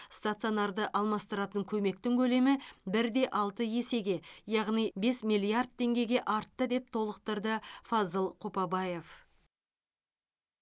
стационарды алмастыратын көмектің көлемі бір де алты есеге яғни бес миллиард теңгеге артты деп толықтырды фазыл қопабаев